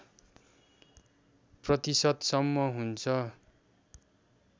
प्रतिशतसम्म हुन्छ